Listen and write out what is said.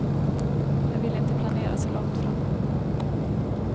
Jag vill inte planera så långt fram.